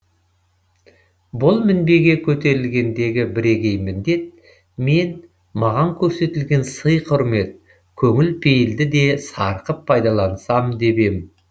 бұл мінбеге көтерілгендегі бірегей міндет мен маған көрсетілген сый құрмет көңіл пейілді де сарқып пайдалансам деп ем